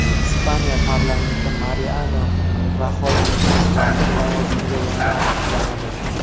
Ispaniya parlamenti Mariano Raxoyni bosh vazir lavozimiga yana tasdiqlamadi.